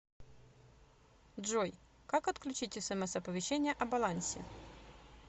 джой как отключить смс оповещение о балансе